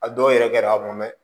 A dɔw yɛrɛ kɛra a kɔnɔ